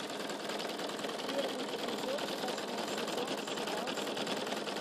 первый эпизод восьмой сезон сериал стыд